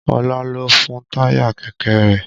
Ọlá lọ fọn táyà kẹ̀kẹ́ rẹ̀